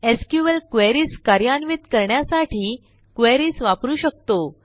SQL queriesकार्यान्वित करण्यासाठी queries वापरू शकतो